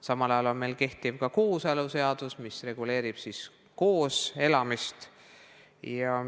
Samal ajal on meil ka kehtiv kooseluseadus, mis reguleerib koos elamist.